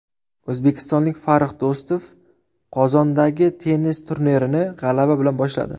O‘zbekistonlik Farrux Do‘stov Qozondagi tennis turnirini g‘alaba bilan boshladi.